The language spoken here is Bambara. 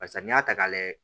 Barisa n'i y'a ta k'a layɛ